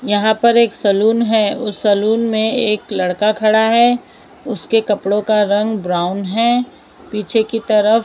यहां पर एक सैलून है उस सैलून में एक लड़का खड़ा है उसके कपड़ों का रंग ब्राउन है पीछे की तरफ--